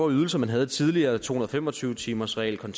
ydelser man havde tidligere to hundrede og fem og tyve timersreglen